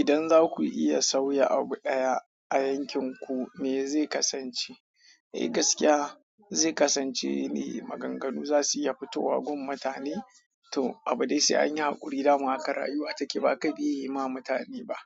Idan za ku iya sauya abu ɗaya a yankin ku, me zai kasance? Eh, gaskiya zai kasance ne maganganu za su iya fitowa gun mutane. Toh abu dai sai anyi haƙuri dama haka rayuwa take baka biye ma mutane ba